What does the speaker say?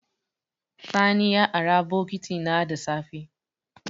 Sani borrowed my bucket in the morning.